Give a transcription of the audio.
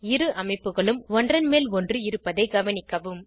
இரு அமைப்புகளும் ஒன்றன் மேல் ஒன்று இருப்பதைக் கவனிக்கவும்